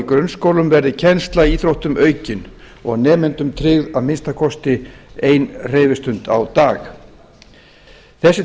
grunnskólum verði kennsla í íþróttum aukin og nemendum tryggð að minnsta kosti ein hreyfistund á dag þessi